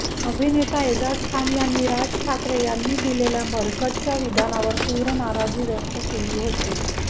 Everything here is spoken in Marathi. अभिनेता एजाज खान यांनी राज ठाकरे यांनी दिलेल्या मरकजच्या विधानावर तीव्र नाराजी व्यक्त केली होती